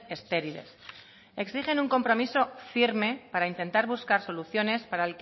estériles exigen un compromiso firme para intentar buscar soluciones